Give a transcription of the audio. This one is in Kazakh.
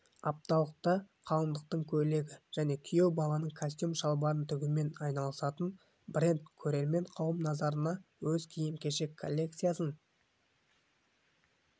апталықта қалыңдықтың көйлегі және күйеу баланың костюм-шалбарын тігумен айналысатын бренд көрермен қауым назарына өз киім-кешек коллекциясын